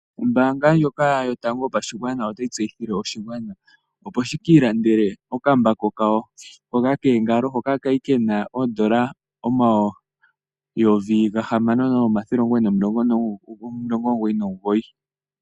Ombaanga ndjoka yotango yopashigwana otayi tseyithile oshigwana opo shiki ilandele okambako kawo hoka koongalo, hoka ka li ke na N$6999.